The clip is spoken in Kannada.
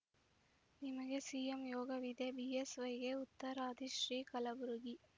ನಿಮಗೆ ಸಿಎಂ ಯೋಗವಿದೆ ಬಿಎಸ್‌ವೈಗೆ ಉತ್ತರಾದಿ ಶ್ರೀ ಕಲಬುರಗಿ